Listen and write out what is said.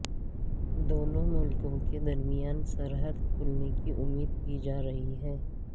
دونوں ملکوں کے درمیان سرحد کھلنے کی امید کی جا رہی ہے